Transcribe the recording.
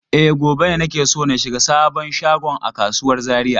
E, gobe ne nake so ka shiga sabon shagon a kasuwar Zariya?